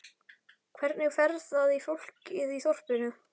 Hvernig fer það í fólkið í þorpinu?